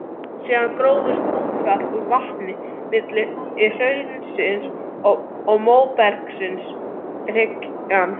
Síðan grófst útfall úr vatninu milli hraunsins og móbergshryggjarins.